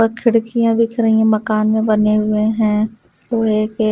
और खिड़कियां दिख रही है मकान में बने हुए हैं ओ एक--